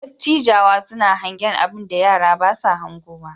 Dattijawa suna hangen abinda yara ba sa hangowa.